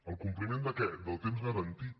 el compliment de què del temps garantit